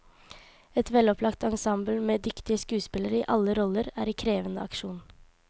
Et velopplagt ensemble med dyktige skuespillere i alle roller er i krevende aksjon.